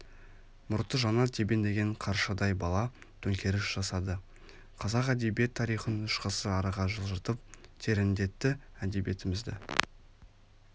мұрты жаңа тебкндеген қаршадай бала төңкеріс жасады қазақ әдебиет тарихын үш ғасыр арыға жылжытып тереңдетті әдебиетімізді